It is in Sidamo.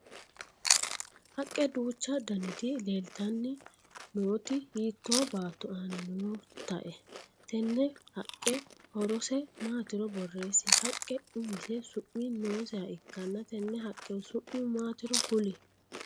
Haqe duuchu danniti leeltanni nooti hiito baatto aanna nootae? Tenne haqe horose maatiro boreesi? Haqe umise su'mi nooseha ikanna tenne haqehu su'mu maatiro kuli?